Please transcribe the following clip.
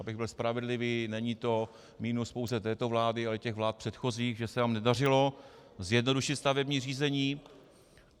Abych byl spravedlivý, není to minus pouze této vlády, ale i těch vlád předchozích, že se nám nedařilo zjednodušit stavební řízení.